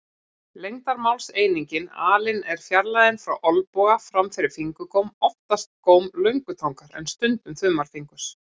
Lengdarmálseiningin alin er fjarlægðin frá olnboga fram fyrir fingurgóm, oftast góm löngutangar en stundum þumalfingurs.